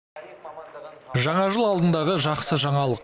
жаңа жыл алдындағы жақсы жаңалық